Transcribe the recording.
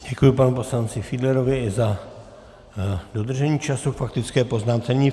Děkuji panu poslanci Fiedlerovi i za dodržení času k faktické poznámce.